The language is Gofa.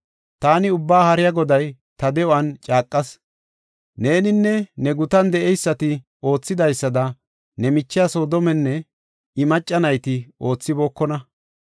“Taani Ubbaa Haariya Goday ta de7uwan caaqas. Neeninne ne gutan de7eysati oothidaysada ne michiya Soodomenne I macca nayti oothibookona.